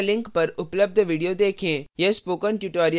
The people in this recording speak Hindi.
निम्न link पर उपलब्ध video देखें